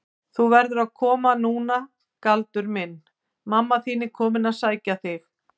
Þú verður að koma núna Galdur minn, mamma þín er komin að sækja þig.